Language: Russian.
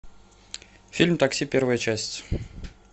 фильм такси первая часть